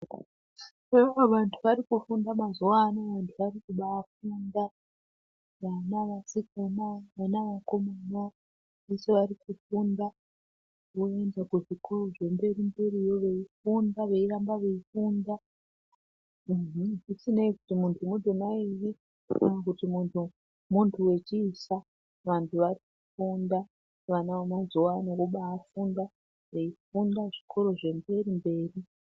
Eya vantu vari kufunda mazuwa ano vanhu vari kubaa funda vana vasikana vana vakomana veshe vari kufunda voenda kuzvikora zvemberi mberiyo veifunda voramba veifunda uhu zvisinei kuti muntu mudzimai ere kana kuti muntu wechiisa vantu vari kufunda vana vemazuwa ano vobafunda veifunda zvikoro zvemberi mberi